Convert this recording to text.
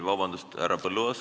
Vabandust, härra Põlluaas!